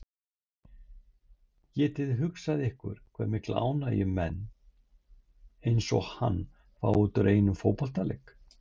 Getiði hugsað ykkur hve mikla ánægju menn eins og hann fá út úr einum fótboltaleik?